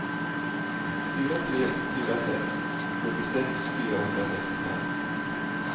fyra tre fyra sex sjuttiosex fyrahundrasextiofem